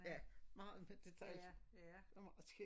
Ja meget med detaljer det meget skægt